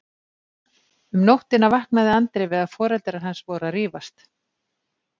Um nóttina vaknaði Andri við að foreldrar hans voru að rífast.